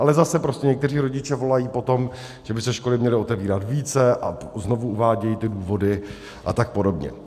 Ale zase prostě někteří rodiče volají po tom, že by se školy měly otevírat více, a znovu uvádějí ty důvody a tak podobně.